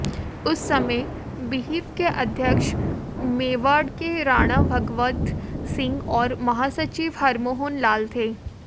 उस समय विहिप के अध्यक्ष मेवाड़ के राणा भगवत सिंह और महासचिव हरमोहन लाल थे